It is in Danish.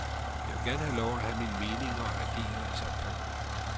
Jeg vil gerne have lov at have mine meninger og agere i samfundet.